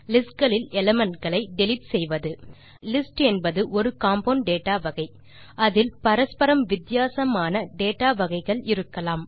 list களில் element களை Deleteசெய்வது ஆகவே இப்போது லிஸ்ட் என்பது ஒரு கம்பவுண்ட் டேட்டா வகை அதில் பரஸ்பரம் வித்தியாசமான டேட்டா வகைகள் இருக்கலாம்